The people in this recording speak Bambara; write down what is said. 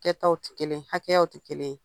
Kɛtaw tɛ kelen ye, hakɛyaw tɛ kelen ye.